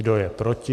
Kdo je proti?